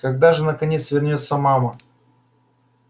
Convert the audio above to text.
когда же наконец вернётся мама